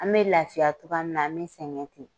An bɛ lafiya cogoya min na an bɛ sɛgɛn ten.